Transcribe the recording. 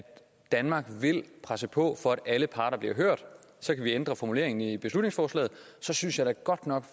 danmark vil presse på for at alle parter bliver hørt så kan vi ændre formuleringen i beslutningsforslaget og så synes jeg da godt nok